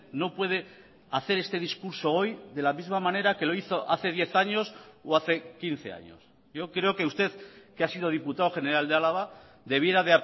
no puede hacer este discurso hoy de la misma manera que lo hizo hace diez años o hace quince años yo creo que usted que ha sido diputado general de álava debiera